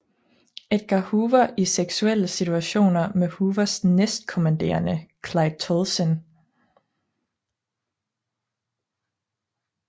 Edgar Hoover i seksuelle situationer med Hoovers næstkommanderende Clyde Tolson